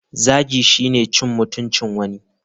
Zagi shine cin mutuncin wani.